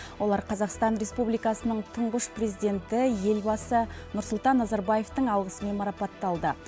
олар қазақстан республикасының тұнғыш президенті елбасы нұрсұлтан назарбаевтын алғысымен марапатталды